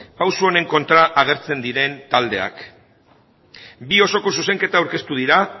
pausu honen kontra agertzen diren taldeak bi osoko zuzenketa aurkeztu dira